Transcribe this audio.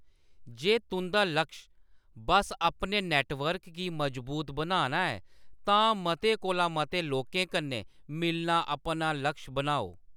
जे तुंʼदा लक्श बस्स अपने नेटवर्क गी मजबूत बनाना ऐ, तां मते कोला मते लोकें कन्नै मिलना अपना लक्श बनाओ।